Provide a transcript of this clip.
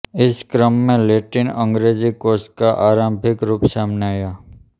इस क्रम में लैटिनअंगेजी कोश का आरंभिक रूप सामने आया